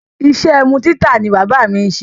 Iṣẹ́ ẹmu títà ni bábà mi ṣe.